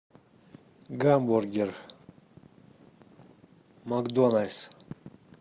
гамбургер макдональдс